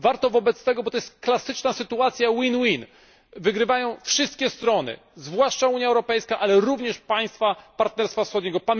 Warto zatem do tego dążyć, bo to klasyczna sytuacja wygrywają wszystkie strony, zwłaszcza Unia Europejska, ale również państwa Partnerstwa Wschodniego.